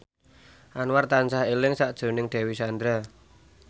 Anwar tansah eling sakjroning Dewi Sandra